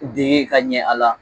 Deen ka ɲɛ a la.